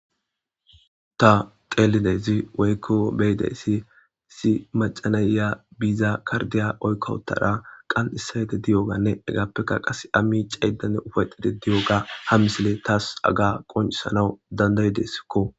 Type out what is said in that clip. Ta qeelidezi weykko beyide si si macanayya biiza kardiya oykkowtara qan issayede diyoganne egappekka qas ammi caydane ufayxide diyoga ha misile taas aga qoncisanawu dandayideskko